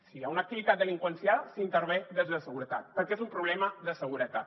si hi ha una activitat delinqüencial s’intervé des de seguretat perquè és un problema de seguretat